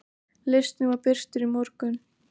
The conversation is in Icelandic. Listinn var birtur í morgun.